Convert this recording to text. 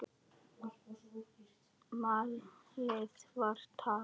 Málið var tapað.